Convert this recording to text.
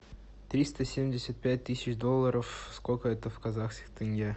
триста семьдесят пять тысяч долларов сколько это в казахских тенге